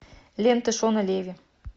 лента шона леви